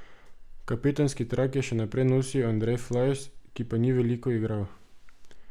Kapetanski trak je še naprej nosil Andrej Flajs, ki pa ni veliko igral.